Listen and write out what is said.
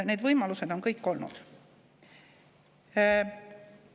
Need võimalused on kõik olnud.